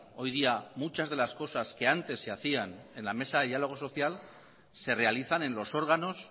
hoy día muchas de las cosas que antes se hacían en la mesa de diálogo social se realizan en los órganos